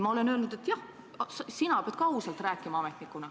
Ma olen öelnud, et jah, sina ametnikuna pead ka ausalt rääkima.